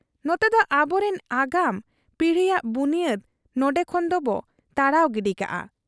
ᱱᱚᱛᱮᱫᱚ ᱟᱵᱚᱨᱤᱱ ᱟᱜᱟᱢ ᱯᱤᱲᱦᱤᱭᱟᱜ ᱵᱩᱱᱤᱭᱟᱹᱫᱽ ᱱᱚᱱᱰᱮ ᱠᱷᱚᱱ ᱫᱚᱵᱚ ᱛᱟᱲᱟᱣ ᱜᱤᱰᱤ ᱠᱟᱫ ᱟ ᱾